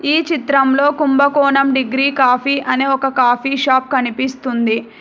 ఈ చిత్రంలో Kumbakonam degree coffee అనే ఒక కాఫీ షాప్ కనిపిస్తుంది.